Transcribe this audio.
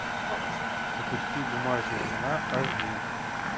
запусти бумажная луна аш ди